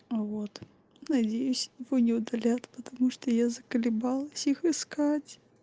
вот надеюсь его не удалят потому что я заколебалась их искать